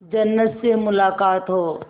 जन्नत से मुलाकात हो